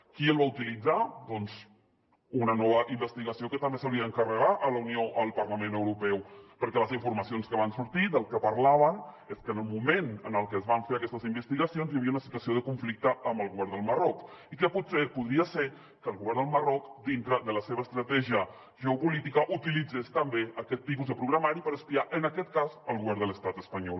qui el va utilitzar doncs una nova investigació que també s’hauria d’encarregar a la unió al parlament europeu perquè les informacions que van sortir del que parlaven és que en el moment en el que es van fer aquestes investigacions hi havia una situació de conflicte amb el govern del marroc i que potser podria ser que el govern del marroc dintre de la seva estratègia geopolítica utilitzés també aquest tipus de programari per espiar en aquest cas el govern de l’estat espanyol